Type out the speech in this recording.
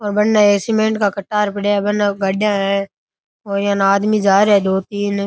बनने सीमेंट का कट्टार पड़या है वहां गाड़िया है यहां आदमी जा रहे हैं दो-तीन।